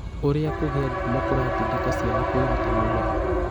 Ũrĩa kũgĩa ngumo kũratindĩka ciana kwĩruta muoyo